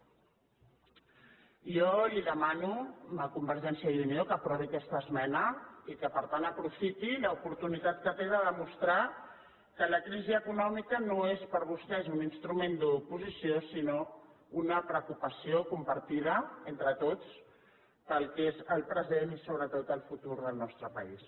jo li demano a convergència i unió que aprovi aquesta esmena i que per tant aprofiti l’oportunitat que té de demostrar que la crisi econòmica no és per a vostès un instrument d’oposició sinó una preocupació compartida entre tots per al que és el present i sobretot el futur del nostre país